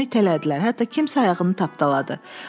Onu itələdilər, hətta kimsə ayağını tapdaladı.